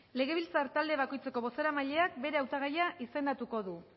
legebiltzar talde bakoitzeko bozeramaileak bere hautagaia izendatuko du